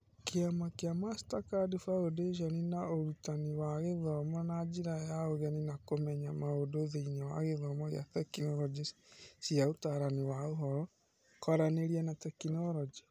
Kĩama kĩa Mastercard Foundation na Ũrutanani wa gũthoma na njĩra ya ũgeni na kũmenya maũndũ thĩinĩ wa gĩthomo kĩa Tekinoronjĩ cia Ũtaarani wa Ũhoro, Kwaranĩria na Tekinorojĩ